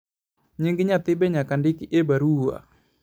nying nyathi be nyaka ndik e barua